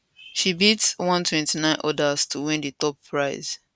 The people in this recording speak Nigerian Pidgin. she beat 129 odas to win di top prize